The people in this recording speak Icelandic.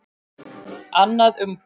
Annað umboð.